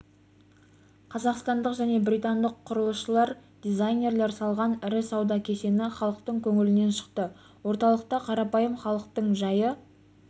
қазақстандық және британдық құрылысшылар дизайнерлер салған ірі сауда кешені халықтың көңілінен шықты орталықта қарапайым халықтың жайы